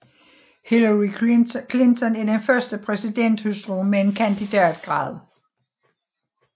Hillary Clinton er den første præsidenthustru med en kandidatgrad